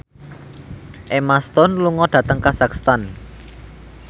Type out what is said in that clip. Emma Stone lunga dhateng kazakhstan